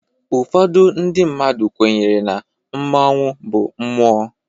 Ụfọdụ ndị mmadụ kwenyere na mmanwu bụ mmụọ.